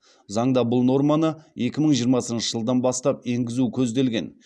заңда бұл норманы екі мың жиырмасыншы жылдан бастап енгізу көзделген